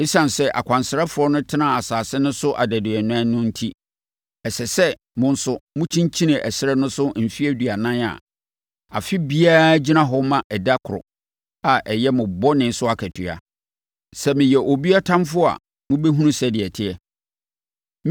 Esiane sɛ akwansrafoɔ no tenaa asase no so adaduanan no enti, ɛsɛ sɛ mo nso mokyinkyini ɛserɛ no so mfeɛ aduanan a afe biara gyina hɔ ma ɛda koro a ɛyɛ mo bɔne so akatua. Sɛ meyɛ obi ɔtamfoɔ a mobɛhunu sɛdeɛ ɛteɛ.’